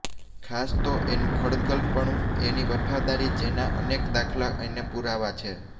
ખાસ તો એનું ખડતલ પણું એની વફાદારી જેના અનેક દાખલા અને પૂરાવા છે